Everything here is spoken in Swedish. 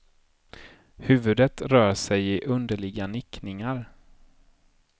Huvudet rör sig i underliga nickningar.